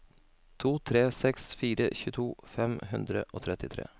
to tre seks fire tjueto fem hundre og trettitre